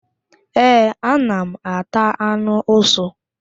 Ee, a na m ata anụ ụsụ